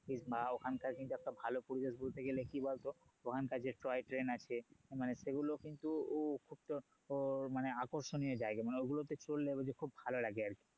বা ওখানকার একটা ভালো পরিবেশ বলতে গেলে কি বলতো ওখানকার যে toy train আছে মানে সেগুলো কিন্তু খুব তো~ তোর মানে আকর্ষণীয় জায়গা মানে ঐগুলোতে ঘুরলে খুব ভালো লাগে আর কি